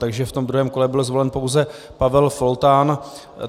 Takže v tom druhém kole byl zvolen pouze Pavel Foltán.